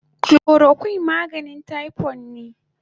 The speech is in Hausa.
Chloroquine maganin typhoid ne